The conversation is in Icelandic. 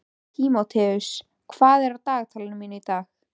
Tímoteus, hvað er á dagatalinu mínu í dag?